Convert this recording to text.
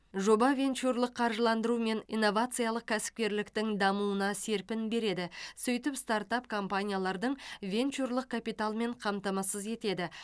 жоба венчурлық қаржыландыру мен инновациялық кәсіпкерліктің дамуына серпін береді сөйтіп стартап компаниялардың венчурлық капиталмен қамтамасыз етеді